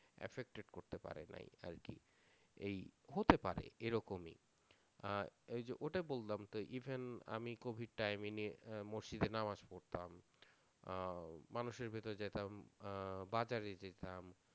আরকি এই হতে পারে এরকমই আর এইযে ওটাই বললাম তা even আমি covid timing এ আহ মসজিদে নামাজ পড়তাম, আহ মানুষের বাড়িতে যাইতাম আহ বাজারে যাইতাম